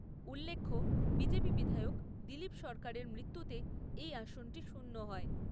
উল্লেখ্য, বিজেপি বিধায়ক দিলীপ সরকারের মৃত্যুতে এই আসনটি শূন্য হয় ।